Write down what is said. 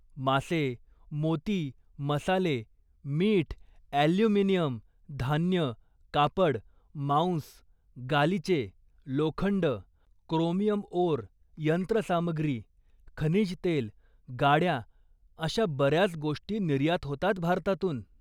मासे, मोती, मसाले, मीठ, ॲल्युमिनियम, धान्य, कापड, मांस, गालिचे, लोखंड, क्रोमियम ओर, यंत्रसामग्री, खनिज तेल, गाड्या अशा बऱ्याच गोष्टी निर्यात होतात भारतातून.